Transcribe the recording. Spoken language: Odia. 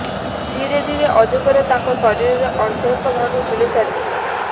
ଧୀରେ ଧୀରେ ଅଜଗର ତାଙ୍କ ଶରୀରର ଅର୍ଦ୍ଧେକ ଭାଗ ଗିଳିସାରିଥିଲା